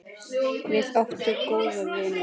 Við áttum góðan vin.